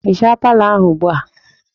Hichaa palọ ahụ ugbu a!